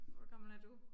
Hvor gammel er du?